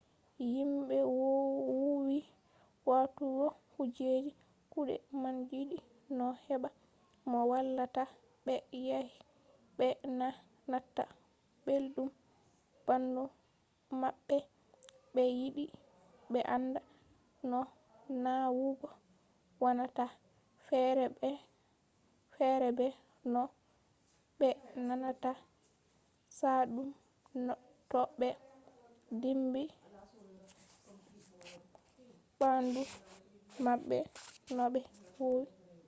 himɓe woowi waɗugo kujeji kuɗe man yiɗi no heɓa mo wallata ɓe yake ɓe na nataa belɗum ɓandu maɓɓe ɓe yiɗi ɓe anda no nawugo wonata fere be no ɓe nanata chaɗɗum to ɓe dimbi ɓandu maɓɓe no ɓe woowi